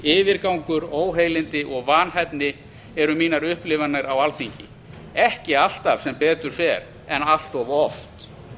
yfirgangur óheilindi og vanhæfni eru mínar upplifanir á alþingi ekki alltaf sem betur fer en allt of oft